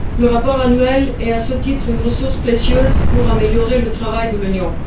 Le rapport annuel est, à ce titre, une ressource précieuse pour améliorer le travail de l'Union.